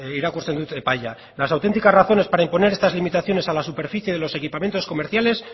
irakurtzen dut epaia las auténticas razones para imponer estas limitaciones a la superficie de los equipamientos comerciales